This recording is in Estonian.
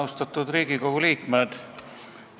Austatud Riigikogu liikmed!